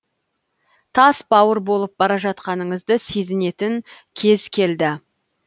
тас бауыр болып бара жатқаныңызды сезінетін кез келді